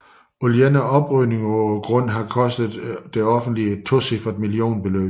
Alene oprydningen på grunden har kostet det offentlige et tocifret millionbeløb